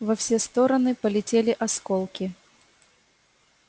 во все стороны полетели осколки